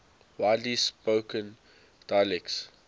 widely spoken dialects